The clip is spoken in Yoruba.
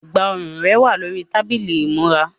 Ẹ̀gbá-ọrùn rẹ wà lórí tábìlì ìmúra.